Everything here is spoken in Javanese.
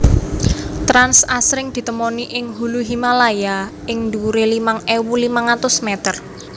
Trans asring ditemoni ing hulu Himalaya ing dhuwure limang ewu limang atus meter